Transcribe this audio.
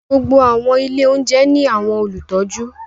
Gbogbo awọn ilé oúnjẹ ni awọn olutọju